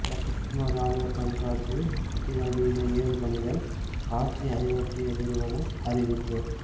லக்னோ ராணுவ கண்காட்சி அதிநவீன ஏவுகணைகள் காட்சி ஐரோப்பிய நிறுவனம் அறிவிப்பு